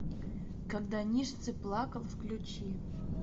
когда ницше плакал включи